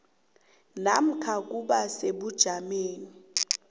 namkha ukuba sebujameni